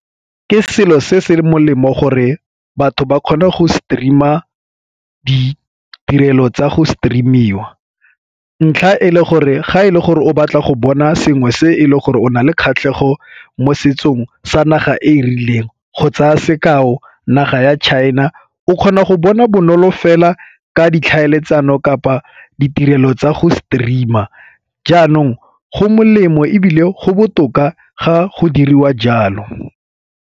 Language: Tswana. Ke selo se se molemo gore batho ba kgone go stream-a ditirelo tsa go stream-iwa, ntlha e le gore ga e le gore o batla go bona sengwe se e le gore o na le kgatlhego mo setsong sa naga e e rileng go tsaya sekao naga ya china o kgona go bona bonolo fela ka ditlhaeletsano kapa ditirelo tsa go stream-a, jaanong go molemo ebile go botoka ga go diriwa jalo.